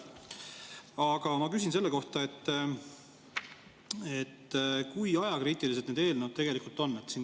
Aga ma küsin selle kohta, kui ajakriitilised need eelnõud tegelikult on.